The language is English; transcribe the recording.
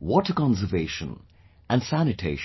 water conservation and sanitation